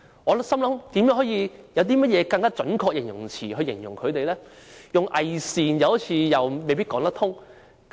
我在思考有何更準確的形容詞來形容反對派，用"偽善"未必正確。